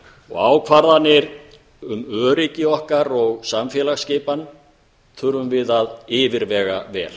ákvarðanir um öryggi okkar og samfélagsskipan þurfum við að yfirvega vel